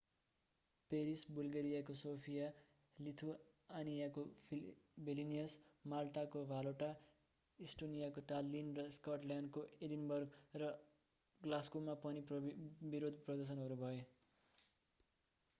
Paris बुल्गेरियाको Sofia लिथुआनियाको Vilnius माल्टाको भालेटा इस्टोनियाको टाल्लीन र स्कटल्याण्डको एडिनबर्ग र ग्लास्गोमा पनि विरोध प्रदर्शनहरू भए